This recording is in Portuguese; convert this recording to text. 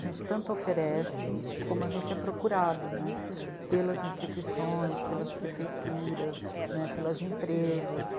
A gente tanto oferece como a gente é procurado, né, pelas instituições, pelas prefeituras, né, pelas empresas.